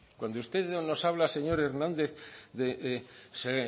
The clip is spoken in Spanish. cuando usted nos habla señor hernández de se